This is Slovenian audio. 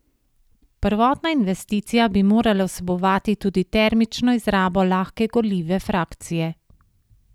Prvotna investicija bi morala vsebovati tudi termično izrabo lahke gorljive frakcije.